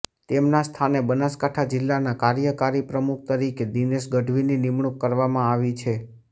તેમના સ્થાને બનાસકાંઠા જિલ્લાના કાર્યકારી પ્રમુખ તરીકે દિનેશ ગઢવીની નિમણૂંક કરવામાં આવી છે